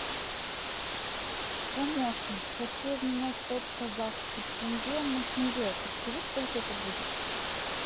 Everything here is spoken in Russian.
помощник хочу обменять пять казахских тенге на тенге подскажи сколько это будет